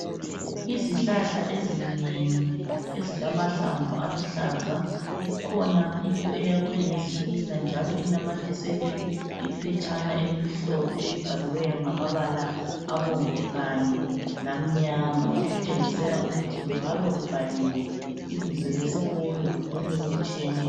Izihlahla ezinengi ezilamahlamvu aluhlaza. Kukhona into eyakhwe ngezitina njalo inamathiselwe iphetshana elimhlophe, elibhaliweyo ngamabala abomvu kanye lamnyama, okutshengisela ukuthi kungabe kubhaliwe ibizo lesikolo lokunye okutshiyeneyo.